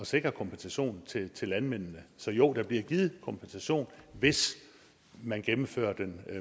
sikre kompensationen til til landmændene så jo der bliver givet kompensation hvis man gennemfører den